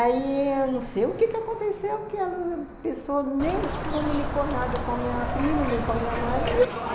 Aí, não sei o que aconteceu, que ela, a pessoa nem comunicou nada com a minha prima, nem com a minha mãe.